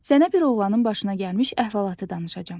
Sənə bir oğlanın başına gəlmiş əhvalatı danışacam.